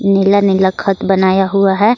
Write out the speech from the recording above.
नीला नीला खत बनाया हुआ है।